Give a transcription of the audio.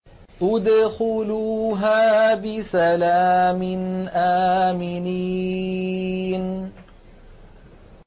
ادْخُلُوهَا بِسَلَامٍ آمِنِينَ